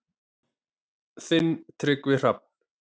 Þinn Tryggvi Hrafn.